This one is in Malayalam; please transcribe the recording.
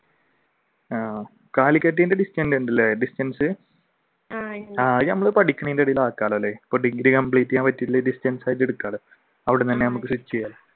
ആഹ് calicut ന്റെ distant ഉണ്ടല്ലേ distance ഡിഗ്രി complete ചെയ്യാൻ പറ്റില്ലെങ്കിൽ distance ആയിട്ട് എടുക്കേണ്